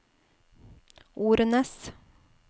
Ornes